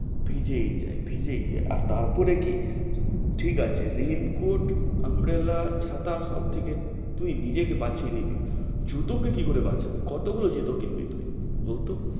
ভিজেই যায় ভিজেই যায় আর তার পরে কি? ঠিক আছে rain coat, umbrella ছাতা সব থেকে তুই নিজেকে বাঁচিয়ে নিবি, জুতো কে কি করে বাঁচাবে, কত গুলো জুতা কিনবি তুই বলতো?